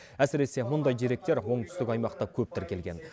әсіресе мұндай деректер оңтүстік аймақта көп тіркелген